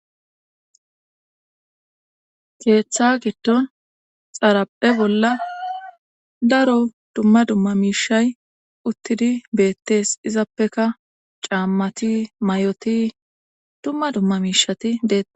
keeththa giddo xaraphe bolla daro dumma dumma miishay uttidi beettees izappeka caammati may7oti dumma dumma miishati deea